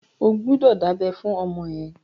O gbọ́dọ̀ dábẹ́ fún ọmọ ẹ!